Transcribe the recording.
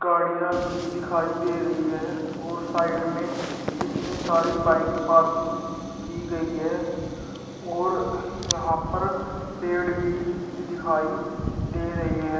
गाड़ियां भी दिखाई दे रही है और साइड में कितनी सारी बाइक पार्किंग की गई है और यहां पर पेड़ भी दिखाई दे रहे है।